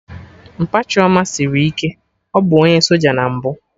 Mpa Chioma sịrị ike, ọ bụ onye soja na mbụ